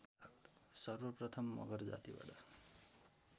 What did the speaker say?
सर्वप्रथम मगर जातिबाट